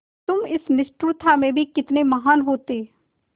तुम इस निष्ठुरता में भी कितने महान् होते